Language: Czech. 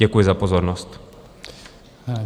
Děkuji za pozornost.